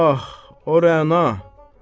Ah, o Rəna.